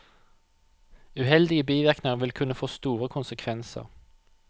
Uheldige bivirkninger vil kunne få store konsekvenser.